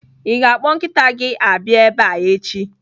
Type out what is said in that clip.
Ị ga-akpọ nkịta gị abịa ebe a echi!